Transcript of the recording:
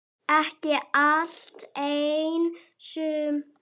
Ekki allt, en sumt.